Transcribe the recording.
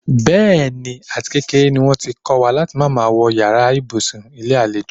Bé̩è̩nì, àtikékeré ni wó̩n ti kó̩ wa láti má máa wo̩ yàrá ibùsùn ilé àlejò.